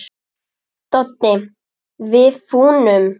Doddi: Við fúnum.